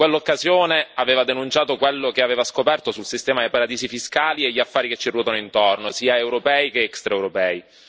In quell'occasione, aveva denunciato quello che aveva scoperto sul sistema dei paradisi fiscali e gli affari che ci ruotano intorno, sia europei che extraeuropei.